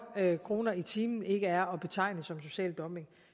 kroner i timen ikke er at betegne som social dumping